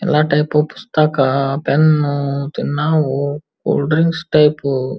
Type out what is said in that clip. ಎಲ್ಲ ಟೈಪ್ ಪುಸ್ತಕ ಪೆನ್ನು ನಾವು ಕೂಲ್ ಡ್ರಿಂಕ್ಸ್ ಟೈಪ್ --